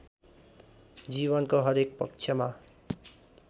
जीवनको हरेक पक्षमा